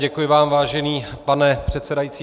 Děkuji vám, vážený pane předsedající.